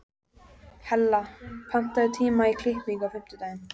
Hella, pantaðu tíma í klippingu á fimmtudaginn.